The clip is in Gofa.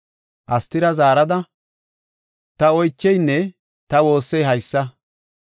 Astira zaarada ta oycheynne ta woossey haysa;